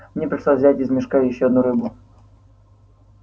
мне пришлось взять из мешка ещё одну рыбу